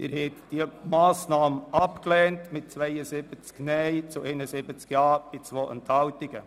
Sie haben diese Planungserklärung abgelehnt mit 72 Nein- zu 71 JaStimmen bei 2 Enthaltungen.